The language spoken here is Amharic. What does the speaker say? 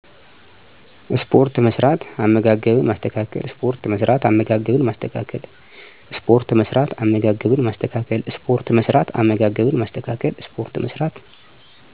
ስፖርት መስራት፣ አመጋገብን ማስተካከል